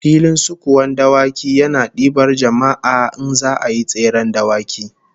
Filin sukuwan dawaki yana dibar jama'a in za'a yi tseren dawaki